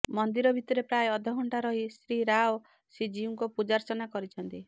ମନ୍ଦିର ଭିତରେ ପ୍ରାୟ ଅଧଘଣ୍ଟା ରହି ଶ୍ରୀ ରାଓ ଶ୍ରୀଜୀଉଙ୍କ ପୂଜାର୍ଚ୍ଚନା କରିଛନ୍ତି